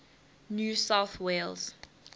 new south wales